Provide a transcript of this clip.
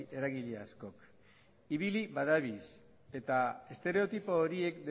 eragile askok ibili badabilz estereotipo horiek